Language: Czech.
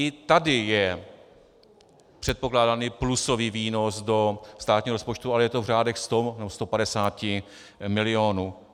I tady je předpokládaný plusový výnos do státního rozpočtu, ale je to v řádech 100 až 150 milionů.